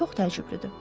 Çox təəccüblüdür.